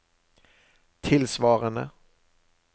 tilsvarende